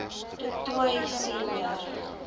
du toit senior